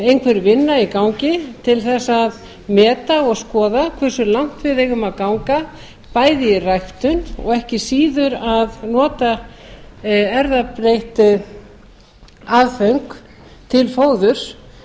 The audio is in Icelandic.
einhver vinna í gangi til þess að meta og skoða hversu langt við eigum að ganga bæði í ræktun og ekki síður að nota erfðabreytt aðföng til fóðurs